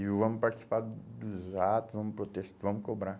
E vamos participar dos atos, vamos protes, vamos cobrar.